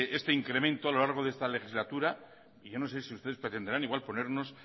este incremento a lo largo de esta legislatura yo no sé si ustedes pretenderán igual ponernos